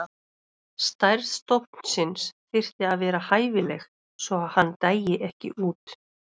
Stærð stofnsins þyrfti að vera hæfileg svo að hann dæi ekki út.